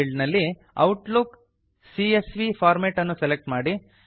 field ನಲ್ಲಿ Outlook CSV format ಅನ್ನು select ಮಾಡಿ